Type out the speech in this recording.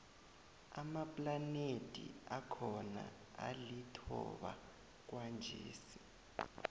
amaplanethi akhona alithoba kwanjesi